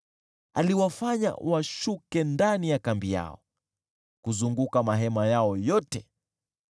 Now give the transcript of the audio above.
Aliwafanya washuke ndani ya kambi yao, kuzunguka mahema yao yote.